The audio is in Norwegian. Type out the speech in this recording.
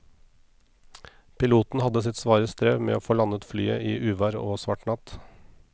Piloten hadde sitt svare strev med å få landet flyet i uvær og svart natt.